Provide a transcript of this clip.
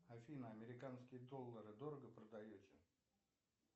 афина американские доллары дорого продаете